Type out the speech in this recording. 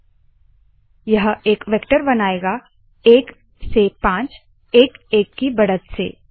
आई 15 यह एक वेक्टर बनाएगा एक से पाँच एक एक की बढ़त से